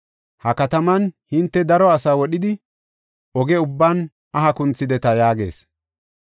Ha kataman hinte daro asaa wodhidi, oge ubban aha kunthideta” yaagees.